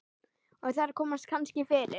Og þar komast kannski fyrir